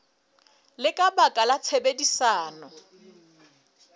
le ka baka la tshebedisano